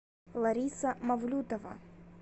лариса мавлютова